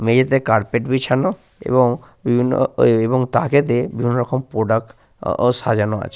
মেঝেতে কার্পেট বিছানো এবং উনো এবং তাকেতে বিভিন্ন রকম প্রোডাক্ট ও আ সাজানো আছে।